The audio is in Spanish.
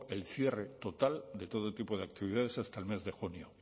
el cierre total de todo tipo de actividades hasta el mes de junio